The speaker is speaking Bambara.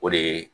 O de ye